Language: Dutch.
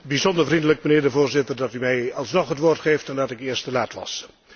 Bijzonder vriendelijk, mijnheer de Voorzitter, dat u mij alsnog het woord geeft, nadat ik eerst te laat was.